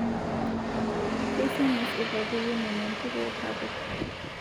Keisamis lpapit linono ntuko lpapit